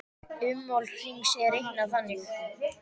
Ummál hrings er reiknað þannig